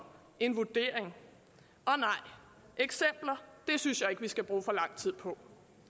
en vurdering og nej eksempler synes jeg ikke vi skal bruge for lang tid på